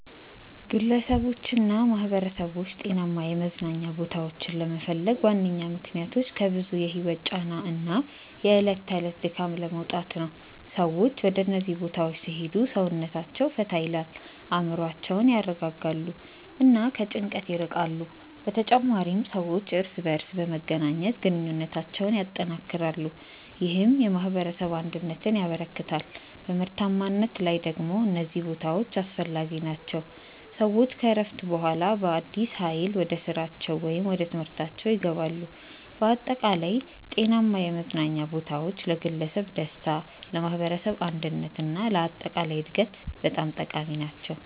ግለሰቦችና ማኅበረሰቦች ጤናማ የመዝናኛ ቦታዎችን ለመፈለግ ዋነኛ ምክንያቶች ከብዙ የህይወት ጫና እና የዕለት ተዕለት ድካም ለመውጣት ነው። ሰዎች ወደ እነዚህ ቦታዎች ሲሄዱ ሰውነታቸውን ፈታ ይላል፣ አእምሮአቸውን ያረጋጋሉ እና ከጭንቀት ይርቃሉ። በተጨማሪም ሰዎች እርስ በርስ በመገናኘት ግንኙነታቸውን ያጠናክራሉ፣ ይህም የማኅበረሰብ አንድነትን ያበረክታል። በምርታማነት ላይ ደግሞ እነዚህ ቦታዎች አስፈላጊ ናቸው፤ ሰዎች ከእረፍት በኋላ በአዲስ ኃይል ወደ ስራቸው ወይም ወደ ትምህርታችው ይገባሉ። በአጠቃላይ ጤናማ የመዝናኛ ቦታዎች ለግለሰብ ደስታ፣ ለማኅበረሰብ አንድነት እና ለአጠቃላይ እድገት በጣም ጠቃሚ ናቸው።